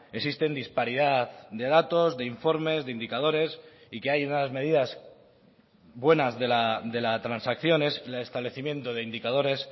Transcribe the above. existen disparidad de datos de informes de indicadores y que hay unas medidas buenas de la transacción es el establecimiento de indicadores